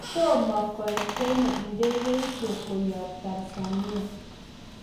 toma koet Kenya ndegeisieg koyab Tanzania